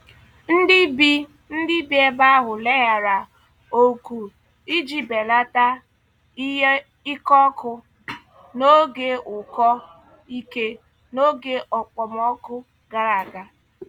Ndị bi Ndị bi ebe ahụ leghaara oku iji belata ike ọkụ n'oge ụkọ ike n'oge okpomọkụ gara aga.